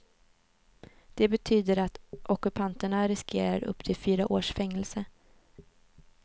Det betyder att ockupanterna riskerar upp till fyra års fängelse.